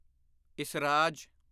esraj